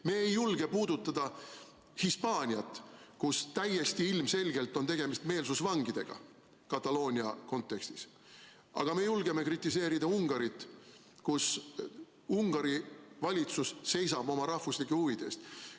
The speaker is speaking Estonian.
Me ei julge puudutada Hispaaniat, kus täiesti ilmselgelt on Kataloonia kontekstis tegemist meelsusvangidega, aga me julgeme kritiseerida Ungarit, kus Ungari valitsus seisab oma rahvuslike huvide eest.